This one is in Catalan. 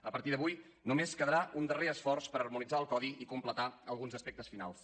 a partir d’avui només quedarà un darrer esforç per harmonitzar el codi i completar alguns aspectes finals